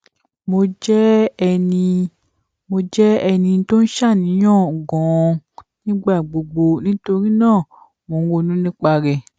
mo jẹ ẹni mo jẹ ẹni tó ń ṣàníyàn ganan nígbà gbogbo nítorí náà mo ronú nípa rẹ